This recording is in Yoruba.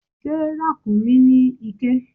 Ṣé ràkúnmí ní iké?